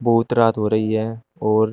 बहुत रात हो रही है और--